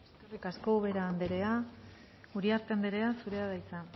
eskerrik asko ubera anderea uriarte anderea zurea da hitza